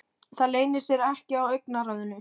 Það leynir sér ekki á augnaráðinu.